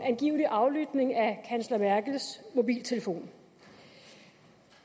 angivelige aflytning af kansler merkels mobiltelefon